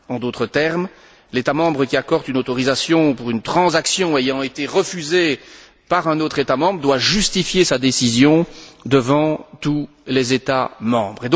En d'autres termes, l'État membre qui accorde une autorisation pour une transaction ayant été refusée par un autre État membre doit justifier sa décision devant tous les États membres.